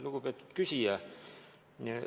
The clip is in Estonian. Lugupeetud küsija!